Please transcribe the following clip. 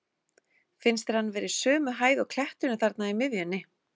Finnst þér hann vera í sömu hæð og kletturinn þarna í miðjunni?